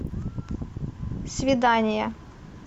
свидание